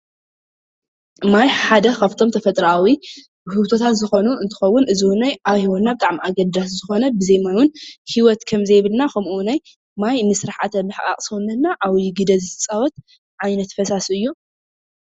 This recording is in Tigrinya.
ማይ ሓደ ካብቶም ተፈጥራኣዊ ውህብታትዝኾኑ እንትከውን፣ እዚውን ኣብ ሂወትና ብጣዕሚ ኣገዳሲ ዝኾነ ብዘይ ማይ እውን ሂወት ከም ዘይብልና፣ ከምኡ ውን ማይ ንስርዓተ ምሕቃቅ ሰውነትና ዓብይ ግደ ዝፃወት ዓይነት ፈሳሲ እዩ።